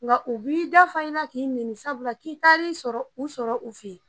Nga o b'i da fa i la k'i nɛni sabula k'i taar'i sɔrɔ u sɔrɔ u fe yen